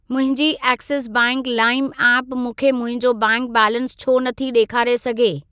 मुंहिंजी Axis bank lime app मूंखे मुंहिंजो बैंक बैलेंस छो नथी ॾेखारे सघे?